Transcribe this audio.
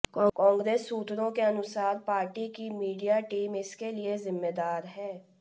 कांग्रेस सूत्रों के अनुसार पार्टी की मीडिया टीम इसके लिए जिम्मेदार है